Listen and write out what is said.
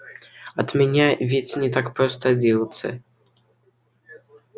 от меня ведь не так просто отделаться